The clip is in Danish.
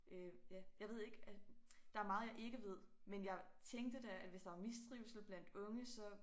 Øh ja jeg ved ikke der meget jeg ikke ved men jeg tænkte da at hvis der var mistrivsel blandt unge så